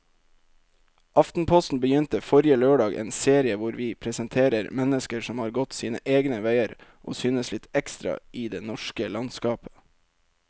Aftenposten begynte forrige lørdag en serie hvor vi presenterer mennesker som har gått sine egne veier og synes litt ekstra i det norske landskapet.